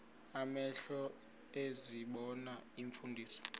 amehlo ezibona iimfundiso